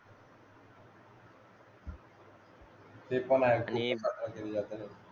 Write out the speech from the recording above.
ते पण आहे आणि